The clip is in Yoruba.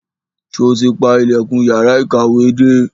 Sọ ti pa ilẹ̀kùn yàrá ìkàwé dé?